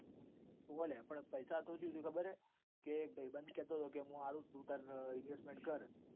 હોવ લ્યા પૈસા તો સુ થયું બર હ. એક ભાઇબંદ કેતો હતો કે હું આલૂ તુ investment કર.